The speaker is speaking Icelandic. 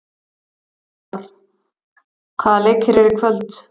Óttarr, hvaða leikir eru í kvöld?